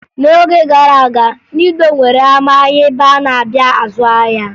N'oge gara aga, ndị Igbo nwere ama ahịa ebe a na-abịa azụ ahịa